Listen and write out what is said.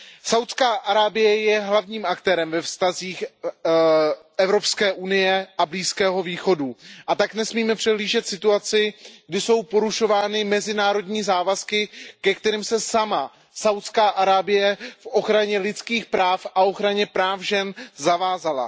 Saúdská Arábie je hlavním aktérem ve vztazích Evropské unie a Blízkého východu, a tak nesmíme přehlížet situaci, kdy jsou porušovány mezinárodní závazky, ke kterým se sama Saúdská Arábie v ochraně lidských práv a v ochraně práv žen zavázala.